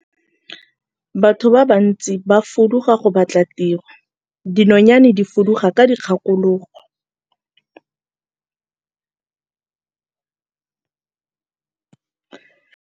Batho ba bantsi ba fuduga go batla tiro, dinonyane di fuduga ka dikgakologo.